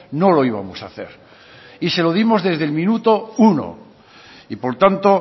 no lo íbamos a hacer y se lo dimos desde el minuto uno y por tanto